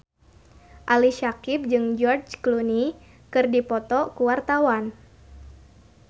Ali Syakieb jeung George Clooney keur dipoto ku wartawan